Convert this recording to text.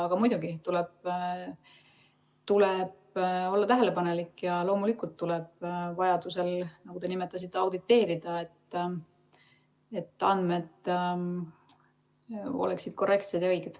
Aga muidugi tuleb olla tähelepanelik ja loomulikult tuleb vajaduse korral, nagu te nimetasite, auditeerida, et andmed oleksid korrektsed ja õiged.